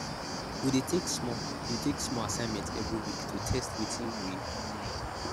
we dey take small dey take small assignment every week to test wetin we don learn